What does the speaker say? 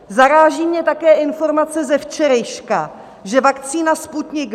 Zaráží mě také informace ze včerejška, že vakcína Sputnik